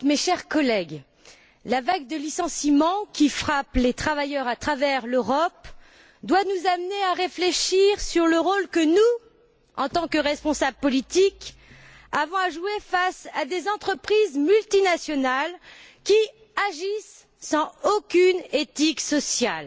Madame la Présidente, mes chers collègues, la vague de licenciements qui frappe les travailleurs à travers l'Europe doit nous amener à réfléchir sur le rôle que nous, en tant que responsables politiques, avons à jouer face à des entreprises multinationales qui agissent sans aucune éthique sociale,